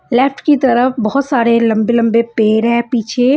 Left की तरफ बहुत सारे लंबे-लंबे पेड़ हैं पीछे।